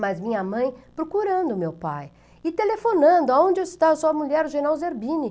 Mas minha mãe procurando meu pai e telefonando, onde está sua mulher, o general Zerbini?